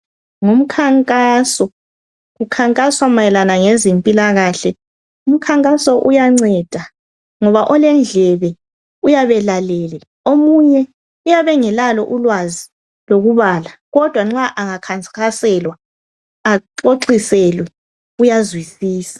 Ngumkhankaso, kukhankaswa mayelana ngezempilakahle. Umkhankaso uyanceda ngoba olendlebe uyabelalele omunye uyabengelalo ulwazi lokubala kodwa nxa engakhansikhaselwa axoxiselwe uyazwisisa.